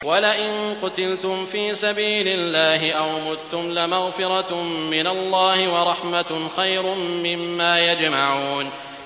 وَلَئِن قُتِلْتُمْ فِي سَبِيلِ اللَّهِ أَوْ مُتُّمْ لَمَغْفِرَةٌ مِّنَ اللَّهِ وَرَحْمَةٌ خَيْرٌ مِّمَّا يَجْمَعُونَ